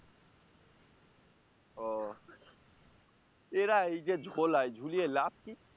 ও এরা এই যে ঝোলায় ঝুলিয়ে লাভ কি?